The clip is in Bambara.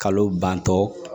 Kalo bantɔ